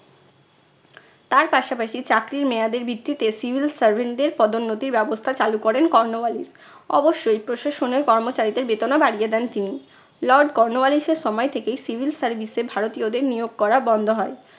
তার পাশাপাশি চাকরির মেয়াদের ভিত্তিতে civil servant দের পদোন্নতির ব্যবস্থা চালু করেন কর্নোওয়ালিস। অবশ্যই প্রশাসনের কর্মচারীদের বেতনও বাড়িয়ে দেন তিনি। lord কর্নোওয়ালিস এর সময় থেকেই civil service এ ভারতীয়দের নিয়োগ করা বন্ধ হয়।